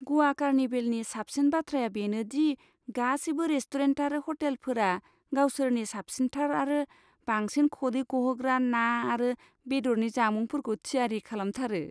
ग'वा कार्निभेलनि साबसिन बाथ्राया बेनो दि गासैबो रेस्टुरेन्ट आरो हटेलफोरा गावसोरनि साबसिनथार आरो बांसिन खदै गहोग्रा ना आरो बेदरनि जामुंफोरखौ थियारि खालामथारो।